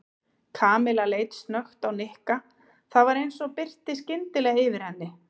Kamilla leit snöggt á Nikka og það var eins og birti skyndilega yfir henni.